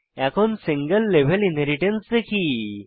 এখন single level inheritance দেখি